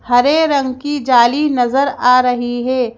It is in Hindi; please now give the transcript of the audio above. हरे रंग की जाली नजर आ रही है।